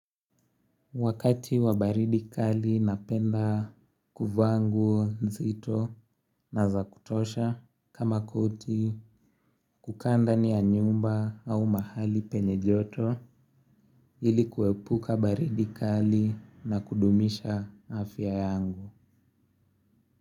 Wakati wa baridi kali napenda kuvaa nguo nzito na za kutosha kama koti kukaa ndani ya nyumba au mahali penye joto ili kuepuka baridi kali na kudumisha afya yangu.